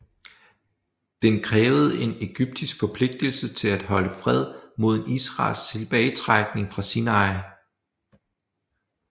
Den krævede en ægyptisk forpligtelse til at holde fred mod en israelsk tilbagetrækning fra Sinai